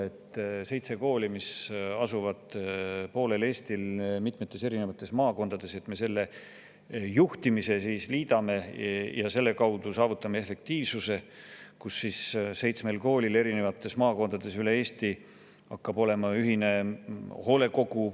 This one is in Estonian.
Me liidame seitse kooli, mis on mitmes eri maakonnas üle poole Eesti laiali, ühe juhtimise alla ja selle kaudu saavutame efektiivsuse, kus seitsmel koolil üle Eesti hakkab olema ühine hoolekogu.